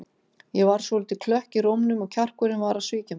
Ég varð svolítið klökk í rómnum og kjarkurinn var að svíkja mig.